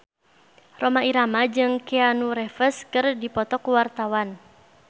Rhoma Irama jeung Keanu Reeves keur dipoto ku wartawan